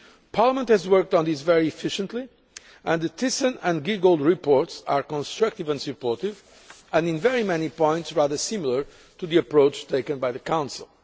Parliament has worked on this very efficiently and the Thyssen and Giegold reports are constructive and supportive, and in very many points rather similar to the approach taken by the Council.